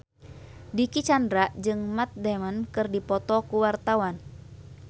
Dicky Chandra jeung Matt Damon keur dipoto ku wartawan